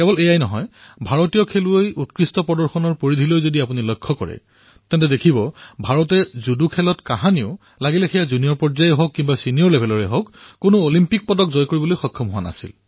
এয়াই নহয় ভাৰতৰ খেলৰ উৎকৃষ্টতাৰ পৰিসীমা প্ৰত্যক্ষ কৰক ভাৰতে জুডোত কেতিয়াও সেয়া জ্যেষ্ঠ শাখাতেই হওক অথবা কনিষ্ঠ শাখাতেই হওক কেতিয়াও অলিম্পিকৰ মেডেল জয় কৰিব পৰা নাই